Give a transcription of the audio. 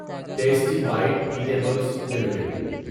tasty bite eatables limited